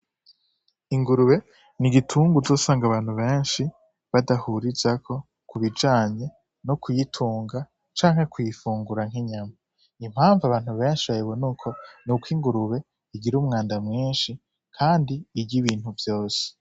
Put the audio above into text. Ingurube n'igitungwa uzosanga abantu benshi badahurizako kubijanye no kuyitunga canke kuyifungura nk'inyama, impamvu abantu benshi bayibona uko n'uko ingurube igira umwanda mwinshi, kandi irya ibintu vyose.